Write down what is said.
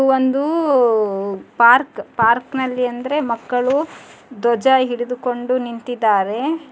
ಒಂದು ಪಾರ್ಕ್ ಪಯಾರ್ಕ್ನಲ್ಲಿ ಅಂದರೆ ಮಕ್ಕಳು ದ್ವಜ ಹಿಡಿದುಕೊಂಡು ನಿಂತಿದ್ದಾರೆ.